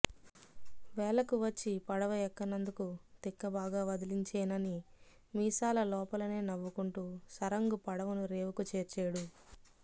వేళకు వచ్చి పడవ ఎక్కనందుకు తిక్క బాగా వదిలించేనని మీసాల లోపలనే నవ్వుకుంటూ సరంగు పడవను రేవుకు చేర్చేడు